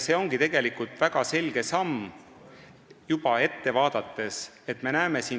See ongi tegelikult juba väga selge ettevaatav samm.